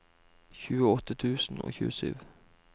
tjueåtte tusen og tjuesju